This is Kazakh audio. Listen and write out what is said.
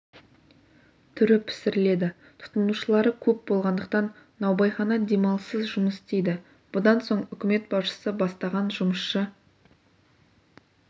түрі пісіріледі тұтынушылары көп болғандықтан наубайхана демалыссыз жұмыс істейді бұдан соң үкімет басшысы бастаған жұмысшы